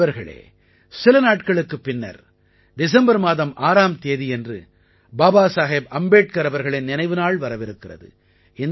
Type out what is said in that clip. நண்பர்களே சில நாட்களுக்குப் பின்னர் டிசம்பர் மாதம் 6ஆம் தேதியன்று பாபாசாஹேப் அம்பேட்கர் அவர்களின் நினைவுநாள் வரவிருக்கிறது